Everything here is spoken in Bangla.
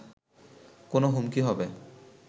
কোনো হুমকি হবে